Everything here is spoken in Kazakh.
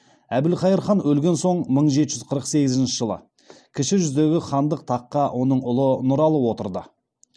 әбілқайыр хан өлген соң мың жеті жүз қырық сегізінші жылы кіші жүздегі хандық таққа оның ұлы нұралы отырды